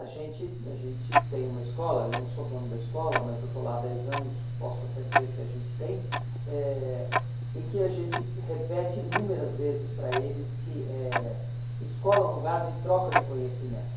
A gente a gente tem uma escola, eu não sou dono da escola, mas eu estou lá há dez anos, posso até dizer que a gente tem, eh em que a gente repete inúmeras vezes para eles que eh escola é um lugar de troca de conhecimento.